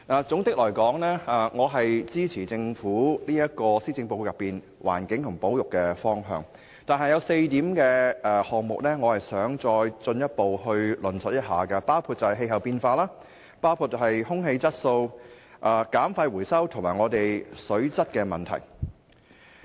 整體來說，我支持政府在施政報告內有關環境和保育等議題的方向，但我想再進一步論述4個項目，包括氣候變化、空氣質素、減廢回收和水質問題。